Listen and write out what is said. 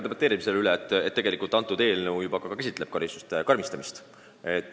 Enne ma ütlesin, et tegelikult see eelnõu juba käsitleb ka karistuste karmistamist.